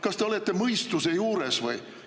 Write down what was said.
Kas te olete mõistuse juures või?